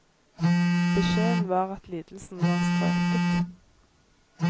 Beskjeden var at lidelsen var strøket.